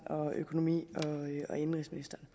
og økonomi og indenrigsministeren